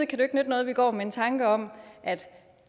kan jo ikke nytte noget at vi går med en tanke om at